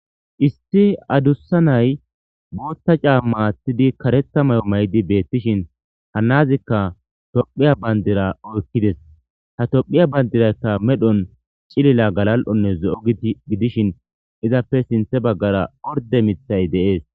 Isti adussa nay boothta caamma aththidi karetha may'o maydi beettishin hanazikka tophiya bandira oykkides ha tophiya bandirayka medhon cilila galal'onne zo'o gidishin izappe sinthe baggara orde mithay dees.